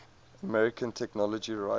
american technology writers